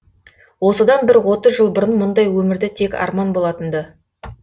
осыдан бір отыз жыл бұрын мұндай өмірді тек арман болатын ды